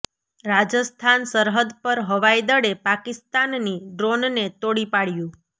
રાજસ્થાન સરહદ પર હવાઈ દળે પાકિસ્તાની ડ્રોનને તોડી પાડ્યું